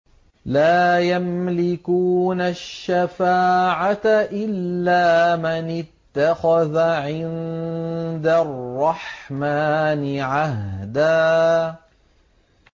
لَّا يَمْلِكُونَ الشَّفَاعَةَ إِلَّا مَنِ اتَّخَذَ عِندَ الرَّحْمَٰنِ عَهْدًا